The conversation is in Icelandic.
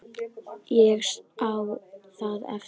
Ég á það eftir.